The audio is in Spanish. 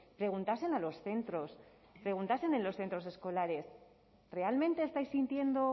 preguntasen a los centros preguntasen en los centros escolares realmente estáis sintiendo